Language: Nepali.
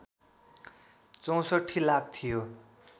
६४ लाख थियो